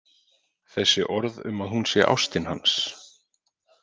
Þessi orð um að hún sé ástin hans.